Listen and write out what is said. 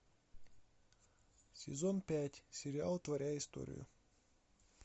сезон пять сериал творя историю